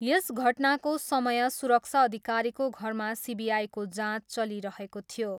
यस घटनाको समय सुरक्षा अधिकारीको घरमा सिबिआईको जाँच चलिरहेको थियो।